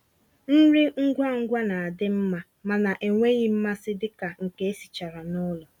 nrí ngwá ngwá ná-àdị́ mmá mànà ènwéghị́ mmàsí dika nkè èsìchàrà nụ́lọ̀.